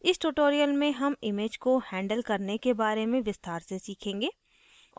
इस tutorial में हम images को हैंडल करने के बारे में विस्तार से सीखेंगे